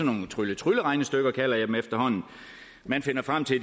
nogle trylle trylle regnestykker kalder jeg dem efterhånden man fandt frem til at